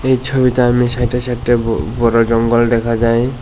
এই ছবিটার সাইডে সাইডে বড় জঙ্গল দেখা যায়।